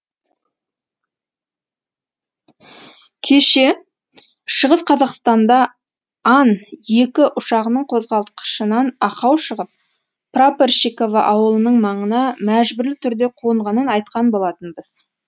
кеше шығыс қазақстанда ан екі ұшағының қозғалтқышынан ақау шығып прапорщиково ауылының маңына мәжбүрлі түрде қонғанын айтқан болатынбыз